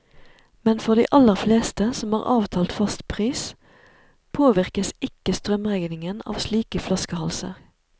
Men for de aller fleste, som har avtalt fast pris, påvirkes ikke strømregningen av slike flaskehalser.